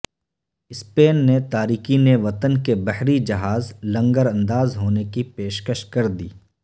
Spain نے تارکین وطن کے بحری جہاز لنگر انداز ہونے کی پیشکش کردی